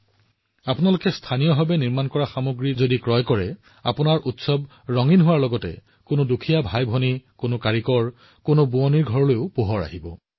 যদি আপুনি স্থানীয় সামগ্ৰী ক্ৰয় কৰে আপোনাৰ উৎসৱটোও আলোকিত কৰা হব আৰু এজন দৰিদ্ৰ ভাতৃ আৰু ভগ্নী এজন শিল্পী এজন শিপিনীৰ ঘৰো আলোকিত কৰা হব